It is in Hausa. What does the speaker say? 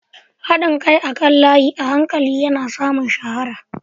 Haɗin kai akan layi a hankali yana samun shahara.